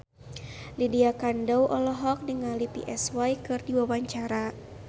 Lydia Kandou olohok ningali Psy keur diwawancara